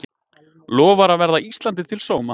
Lofar að verða Íslandi til sóma